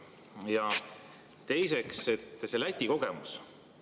Ja teiseks, see Läti kogemus.